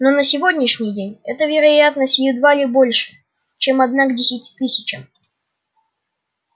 но на сегодняшний день эта вероятность едва ли больше чем одна к десяти тысячам